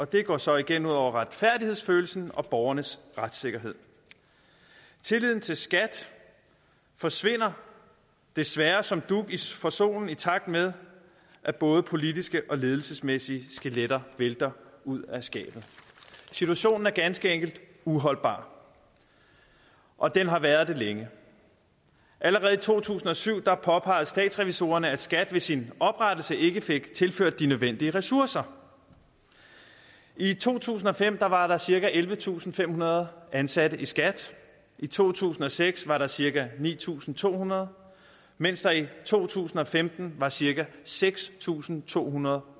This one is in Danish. det går så igen ud over retfærdighedsfølelsen og borgernes retssikkerhed tilliden til skat forsvinder desværre som dug for solen i takt med at både politiske og ledelsesmæssige skeletter vælter ud af skabet situationen er ganske enkelt uholdbar og den har været det længe allerede i to tusind og syv påpegede statsrevisorerne at skat ved sin oprettelse ikke fik tilført de nødvendige ressourcer i to tusind og fem var der cirka ellevetusinde og femhundrede ansatte i skat i to tusind og seks var der cirka ni tusind to hundrede mens der i to tusind og femten var cirka seks tusind to hundrede